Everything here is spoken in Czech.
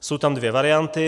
Jsou tam dvě varianty.